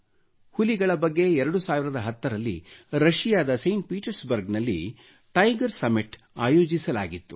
ಹುಲಿಗಳ ಬಗ್ಗೆ 2010 ರಲ್ಲಿ ರಶಿಯಾದ ಸೈಂಟ್ ಪೀಟರ್ಸ್ಬರ್ಗ್ ನಲ್ಲಿ ಟೈಗರ್ ಸಮ್ಮಿಟ್ ಆಯೋಜಿಸಲಾಗಿತ್ತು